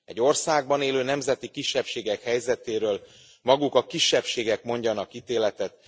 Egy országban élő nemzeti kisebbségek helyzetéről maguk a kisebbségek mondjanak ítéletet.